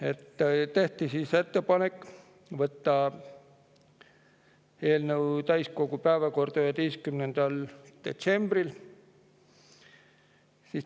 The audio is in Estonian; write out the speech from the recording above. Esiteks tehti ettepanek võtta eelnõu täiskogu päevakorda 11. detsembriks.